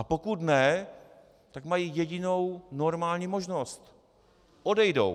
A pokud ne, tak mají jedinou normální možnost: odejdou.